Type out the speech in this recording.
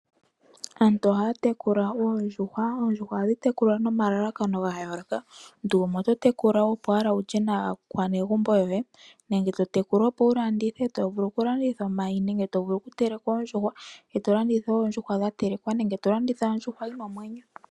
Aantu ohaya tekula oondjuhwa, oondjuhwa ohadhi tekulwa nomalalakano ga yooloka. Omuntu gumwe oto tekula opo owala wulye nawa megumbo lyoye nenge to tekula opo wu landithe tovulu okulanditha omayi nenge tovulu okuteleka oondjuhwa eto landitha oondjuhwa dhatelekwa nenge to landitha ondjuhwa yina omwenyo.